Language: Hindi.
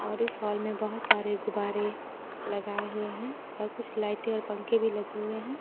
और इस हाल में बहोत सारे गुब्बारे लगाए हुए हैं और कुछ लाइटें और पंखे भी लगे हुए हैं।